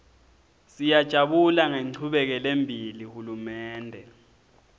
siyajabula ngenchubekelembili hulumende